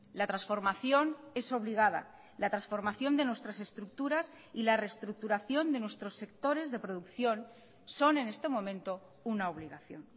la transformación es obligada la transformación de nuestras estructuras y la reestructuración de nuestros sectores de producción son en este momento una obligación